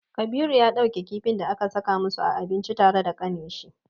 Kabiru ya ɗauke kifin da aka saka musu a abinci tare da kaninshi.